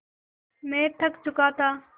मैं थक चुका था